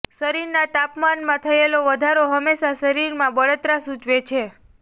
શરીરના તાપમાનમાં થયેલો વધારો હંમેશા શરીરમાં બળતરા સૂચવે છે